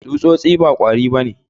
Tsutsotsi ba kwari ba ne.